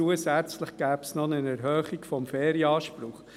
Zusätzlich gäbe es auch eine Erhöhung des Ferienanspruchs.